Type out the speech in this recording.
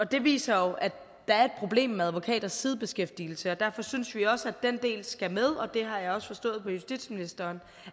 det viser jo at der er et problem med advokaters sidebeskæftigelse og derfor synes vi også at den del skal med og det har jeg også forstået på justitsministeren